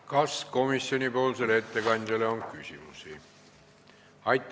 Kas komisjoni ettekandjale on küsimusi?